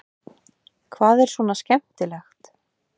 Hvað er svona skemmtilegt?